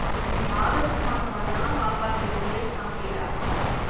August மாசம் வந்தாதா பாப்பாக்கு three years complete ஆகும்